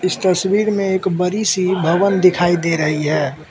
तस्वीर में एक बड़ी सी भवन दिखाई दे रही है।